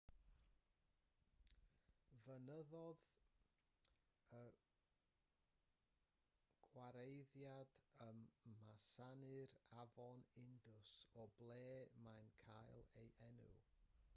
ffynnodd y gwareiddiad ym masnau'r afon indus o ble mae'n cael ei enw